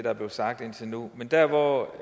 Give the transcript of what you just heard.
er blevet sagt indtil nu men der hvor